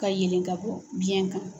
Ka yelen ka bɔ biɲɛ kan.